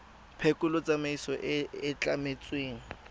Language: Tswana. phekolo tsamaiso e e tlametsweng